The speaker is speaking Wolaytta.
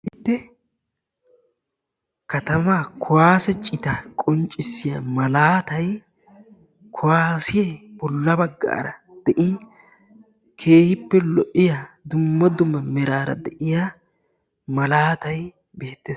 Kataman kuwaase citaa qonccissiya malaatay kuwaasee bolla baggaara de'in keehippe lo'iya dumma dumma meraara de'iya malaatay beettees.